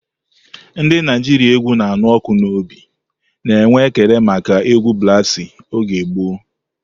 Ndị Naijiria égwù na-anụ ọkụ n'obi na-enwe ekele maka egwu brasi oge gboo.